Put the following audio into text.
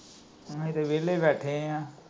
ਅਸੀਂ ਤਾਂ ਵੇਹਲੇ ਬੈਠੇ ਆ।